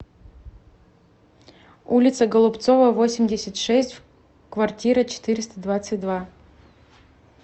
улица голубцова восемьдесят шесть в квартира четыреста двадцать два